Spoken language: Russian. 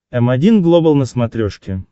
м один глобал на смотрешке